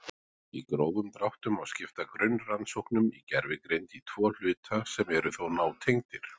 Í grófum dráttum má skipta grunnrannsóknum í gervigreind í tvo hluta sem eru þó nátengdir.